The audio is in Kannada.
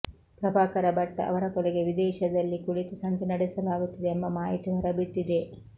ಪ್ರಭಾಕರ ಭಟ್ ಅವರ ಕೊಲೆಗೆ ವಿದೇಶದಲ್ಲಿ ಕುಳಿತು ಸಂಚು ನಡೆಸಲಾಗುತ್ತಿದೆ ಎಂಬ ಮಾಹಿತಿ ಹೊರಬಿದ್ದಿದೆ